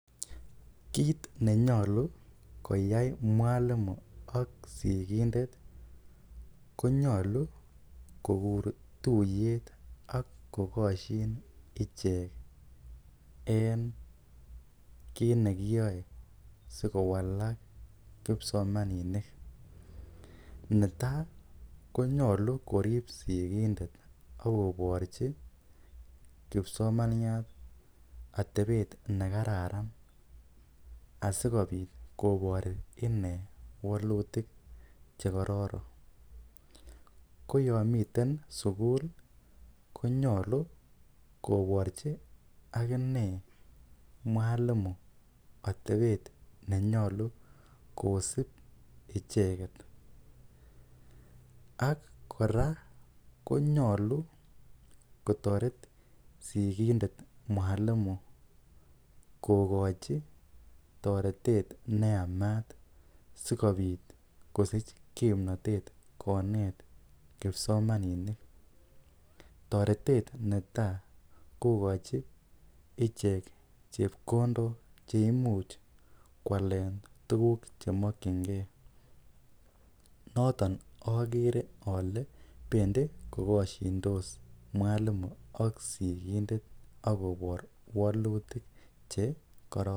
Kiit nenyolu koyai mwalimo ak sikindet konyolu kokur tuiyet ak kokosyin ichek en kiit nekiyoe sikowalak kipsomaninik netai konyolu korip sikindet akoporchi kipsomaniat atepet nekararan asikopit kopor ine walutik che kororon koyo miten sukul konyolu koporchi akine mwalimo atepet nenyalu kosip icheket ak kora konyolu kotoret sikindet mwalimo kokochi toretet neyamat sikobit kosich kimnotet konet kipsomaninik toretet netai kokochi ichek chepkondok cheimuch koale tukuk chakchinkei noton akere ale pendi kokosindos mwalimo ak sikindet akobore walutik chekororon.